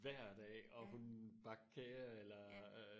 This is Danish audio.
hver dag og hun bagte kager eller